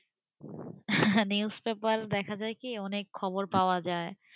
News paper এ দেখা যায় কি অনেক খবর পাওয়া যায়,